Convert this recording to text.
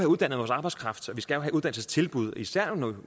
uddannet vores arbejdskraft og vi skal have uddannelsestilbud især når